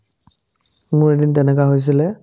মোৰ এদিন তেনেকা হৈছিলে